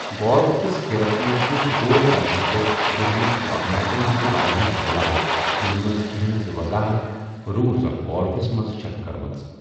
Golf کِس کھیلَس منٛز چھِ سکور کرنہٕ تہٕ گِندنٕک فارمیٹَن ہٕنٛد واریٛاہ بدلاو، یِمن منٛز کینٛہَن ہٕنٛز وضاحت رولز آف گالفَس منٛز چھَکھ کٔرمٕژ۔